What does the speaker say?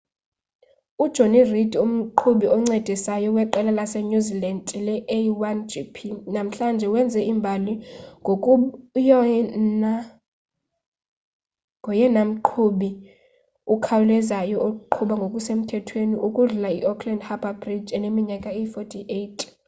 ujonny reid umqhubi oncedisayo weqela lasenew zealand le-a1gp namhlanje wenze imbali ngokuba ngoyena mqhubi ukhawulezayo oqhuba ngokusemthethweni ukudlula iauckland harbour bridge eneminyaka eyi-48